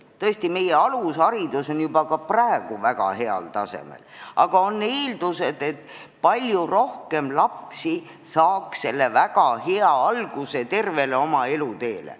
Tõesti, alusharidus on meil juba praegu väga heal tasemel, aga on eeldused, et sellest osa saavaid lapsi oleks veel rohkem.